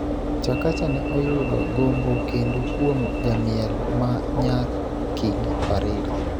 Chakacha ne oyudo gombo kendo kuom jamiel ma Nyar Kingi Farida